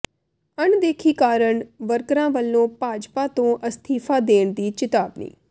ਅਣਦੇਖੀ ਕਾਰਨ ਵਰਕਰਾਂ ਵੱਲੋਂ ਭਾਜਪਾ ਤੋਂ ਅਸਤੀਫਾ ਦੇਣ ਦੀ ਚਿਤਾਵਨੀ